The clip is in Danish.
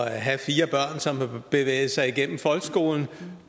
at have fire børn som har bevæget sig igennem folkeskolen